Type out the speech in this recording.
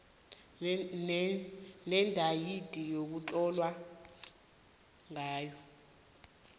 nedeyidi ekutlolwe ngayo